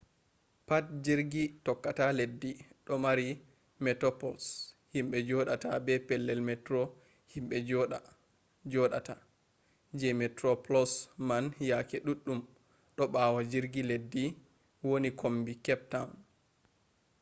pat jirgi tokkata leddi ɗo mari metoplos himɓe joɗata be pellel metro himɓe joɗata; je metro plos man yake ɗuɗɗum ɗo ɓawo jirgi leddi woni kombi kep tawn